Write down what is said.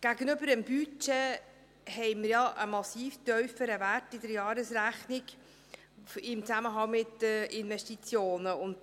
Gegenüber dem Budget haben wir ja im Zusammenhang mit den Investitionen einen massiv tieferen Wert in der Jahresrechnung.